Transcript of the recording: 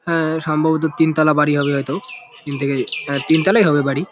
হ্যাঁ সম্ববত তিনতলা বাড়ি হবে হয়তো। তিন থেকে তিন তালাই হবে বাড়ি।